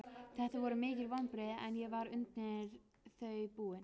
Þetta voru mikil vonbrigði en ég var undir þau búinn.